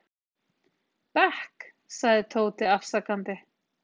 bekk, sagði Tóti afsakandi.